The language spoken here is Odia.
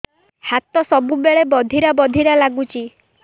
ହାତ ସବୁବେଳେ ବଧିରା ବଧିରା ଲାଗୁଚି